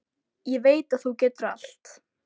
Ég veit að þú getur allt.